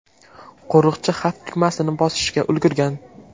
Qo‘riqchi xavf tugmasini bosishga ulgurgan.